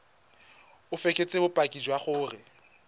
o fekese bopaki jwa gore